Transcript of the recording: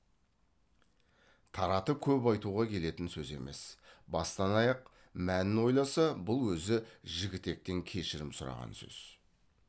таратып көп айтуға келетін сөз емес бастан аяқ мәнін ойласа бұл өзі жігітектен кешірім сұраған сөз